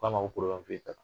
O ko a ma ko fosi t'a la.